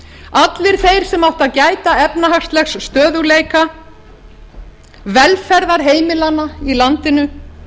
allir þeir sem áttu að gæta efnahagslegs stöðugleika velferðar heimilanna í landinu